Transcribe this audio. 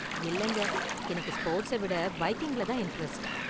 இல்லங்க, எனக்கு ஸ்போர்ட்ஸை விட பைக்கிங்ல தான் இண்டரெஸ்ட்.